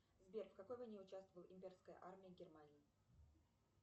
сбер в какой войне участвовала имперская армия германии